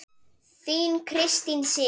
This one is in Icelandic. Þín Kristín Sig.